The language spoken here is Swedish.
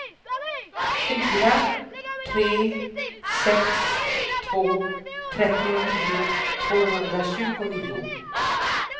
fyra tre sex två trettionio tvåhundratjugonio